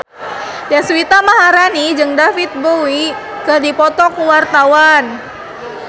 Deswita Maharani jeung David Bowie keur dipoto ku wartawan